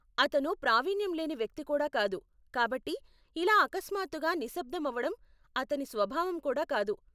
అతను ప్రావిణ్యం లేని వ్యక్తి కూడా కాదు, కాబట్టి, ఇలా అకస్మాత్తుగా నిశబ్దం అవడం అతని స్వభావం కూడా కాదు.